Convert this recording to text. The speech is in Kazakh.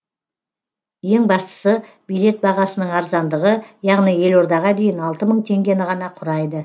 ең бастысы билет бағасының арзандығы яғни елордаға дейін алты мың теңгені ғана құрайды